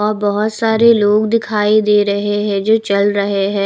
अ बहोत सारे लोग दिखाई दे रहे हैं जो चल रहे हैं।